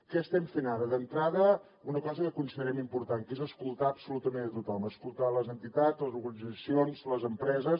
què estem fent ara d’entrada una cosa que considerem important que és escoltar absolutament tothom escoltar les entitats les organitzacions les empreses